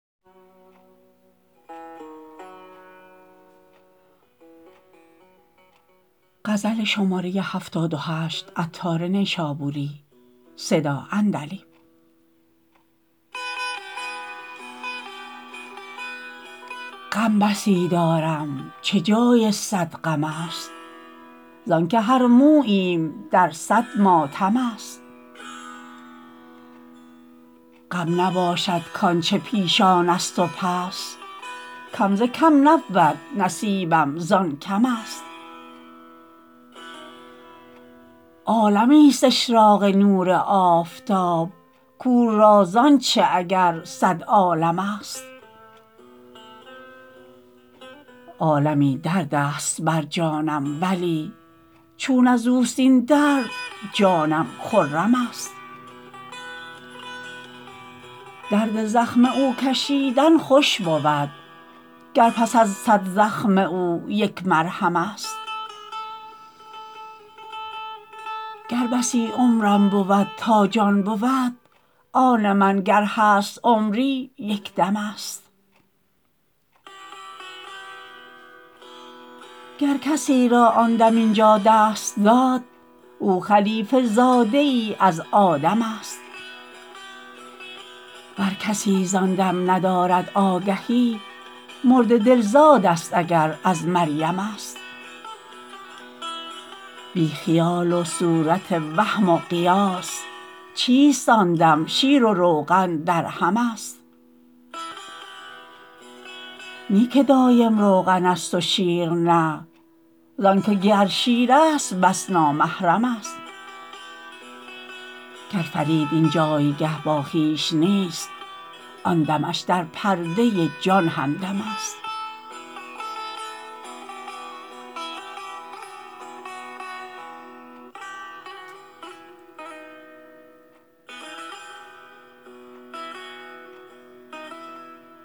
غم بسی دارم چه جای صد غم است زانکه هر موییم در صد ماتم است غم نباشد کانچه پیشان است و پس کم ز کم نبود نصیبم زان کم است عالمی است اشراق نور آفتاب کور را زانچه اگر صد عالم است عالمی دردست بر جانم ولی چون ازوست این درد جانم خرم است درد زخم او کشیدن خوش بود گر پس از صد زخم او یک مرهم است گر بسی عمرم بود تا جان بود آن من گر هست عمری یک دم است گر کسی را آن دم اینجا دست داد او خلیفه زاده ای از آدم است ور کسی زان دم ندارد آگهی مرده دل زاد است اگر از مریم است بی خیال و صورت وهم و قیاس چیست آن دم شیر و روغن درهم است نی که دایم روغن است و شیر نه زانکه گر شیر است بس نامحرم است گر فرید این جایگه با خویش نیست آن دمش در پرده جان همدم است